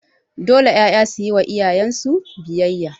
Dole 'ƴaƴa suyi wa iyayen su biyayya